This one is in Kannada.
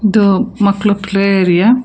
ಇದು ಮಕ್ಳು ಪ್ಲೇ ಏರಿಯಾ .